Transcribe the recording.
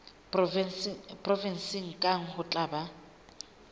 provenseng kang ho tla ba